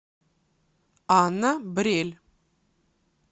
анна брель